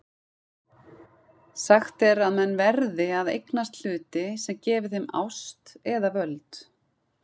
Sagt er að menn VERÐI að eignast hluti sem gefi þeim ást eða völd.